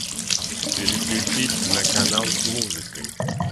переключить на канал с музыкой